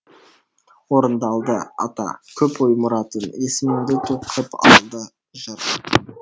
орындалды ата көп ой мұратың есіміңді ту қып алды жыр